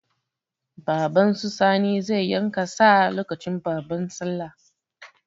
Baban su Sani zai yanka sa lokacin babban sallah.